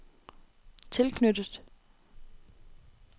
tilknyttet